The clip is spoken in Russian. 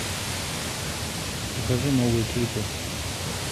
покажи новые клипы